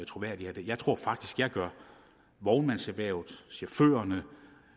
troværdigt af jeg tror faktisk man gør vognmandserhvervet chaufførerne